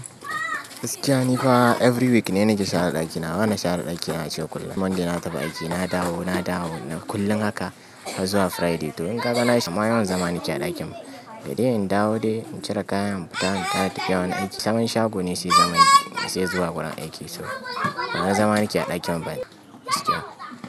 Gaskia ni kuwa every week ne na ke share ɗaki. Na hana share ɗaki na ace kullum. Monday na tafi aiki, na dawo, na dawo kullum haka har zuwa Friday. To in kaga nayi shima yawan zama ni ke a ɗakin. Da dai in dawo dai in cire kayan, fara tafi yawon aiki. Sabon shago ne sai zama in sai zuwa gurin aiki. So bawani zama ni keyi a ɗakin bane gaskia.